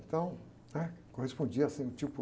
Então, né? Correspondia, assim, o tipo...